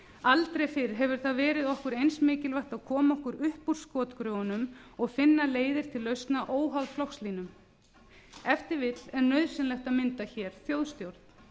aldrei fyrr hefur það verið okkur eins mikilvægt að koma okkur upp úr skotgröfunum og finna leiðir til lausna óháð flokkslínum ef til vill er nauðsynlegt að mynda hér þjóðstjórn